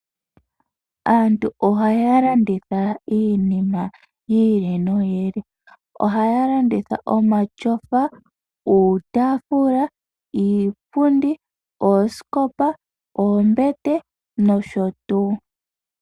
Aantu oha ya landitha iinima yi ili noyi ili. Ohaya landitha omatyofa, uutaafula, iipundi, oosikopa, oombete nosho tuu.